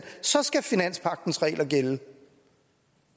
så skal finanspagtens regler gælde